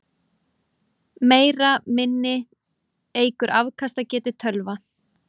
Meira minni eykur afkastagetu tölva.